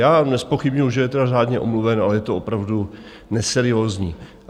Já nezpochybňuju, že je teda řádně omluven, ale je to opravdu neseriózní.